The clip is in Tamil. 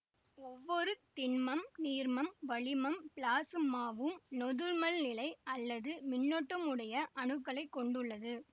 ஒவ்வொரு திண்மம் நீர்மம் வளிமம் பிளாசுமாவும் நொதுமல்நிலை அல்லது மின்னூட்டமுடைய அணுக்களைக் கொண்டுள்ளது